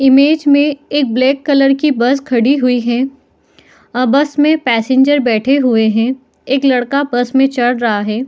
Image में एक black colour की बस खड़ी हुई है आ बस में पैसेंजर बैठे हुए है एक लड़का बस में चढ़ रहा है।